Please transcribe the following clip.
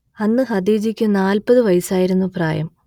അന്ന് ഖദീജക്ക് നാൽപത് വയസ്സായിരുന്നു പ്രായം